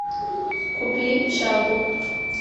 купи чагу